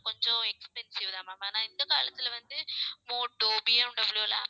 கொஞ்சம் expensive தான் ma'am ஆனா இந்த காலத்தில வந்து மோட்டோ, பிஎம்டபிள்யூ எல்லாம்